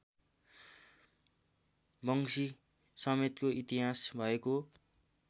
वंशीसमेतको इतिहास भएको